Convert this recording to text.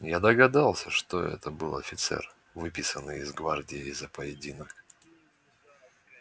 я догадался что это был офицер выписанный из гвардии за поединок